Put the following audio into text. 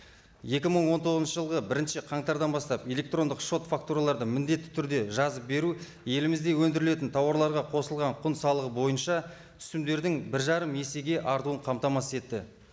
екі мың он тоғызыншы жылғы бірінші қаңтардан бастап электрондық шот фактураларды міндетті түрде жазып беру елімізде өндірілетін тауарларға қосылған құн салығы бойынша түсімдердің бір жарым есеге артуын қамтамасыз етті